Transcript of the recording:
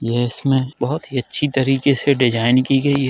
यह इसमें बहुत ही अच्छे तरीके से डिज़ाइन की गयी है।